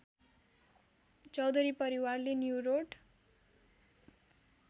चौधरी परिवारले न्युरोड